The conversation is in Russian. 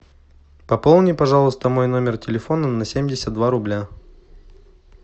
пополни пожалуйста мой номер телефона на семьдесят два рубля